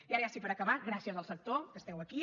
i ara ja sí per acabar gràcies al sector que esteu aquí